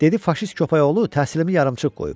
Dedi faşist köpəyoğlu təhsilimi yarımçıq qoyub.